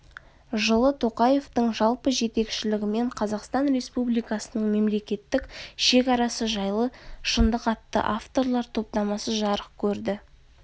жылы тоқаевтың жалпы жетекшілігімен қазақстан республикасының мемлекеттік шекарасы жайлы шындық атты авторлар топтамасы жарық көрді